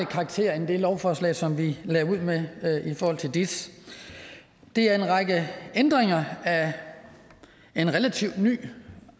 karakter end det lovforslag som vi lagde ud med i forhold til dis det er en række ændringer af en relativt ny